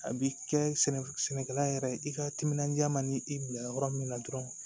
A bi kɛ sɛnɛkɛla yɛrɛ ye i ka timinandiya man di i bila yɔrɔ min na dɔrɔn